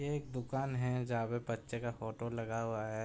एक दुकान है। जहाँ पे बच्चे का फोटो लगा हुआ है।